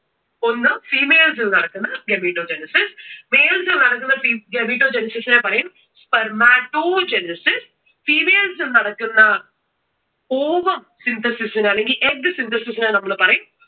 ഒന്ന് females ൽ നടക്കുന്ന gametogenesis. Males ൽ നടക്കുന്ന gametogenesis നെ പറയും spermatogenesis. Females ഇൽ നടക്കുന്ന ovum synthesis നെ അല്ലെങ്കിൽ egg synthesis നെ നമ്മൾ പറയും.